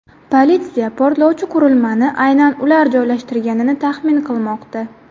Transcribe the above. Politsiya portlovchi qurilmani aynan ular joylashtirganini taxmin qilmoqda.